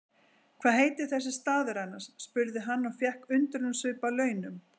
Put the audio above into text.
Hvað heitir þessi staður annars? spurði hann og fékk undrunarsvip að launum.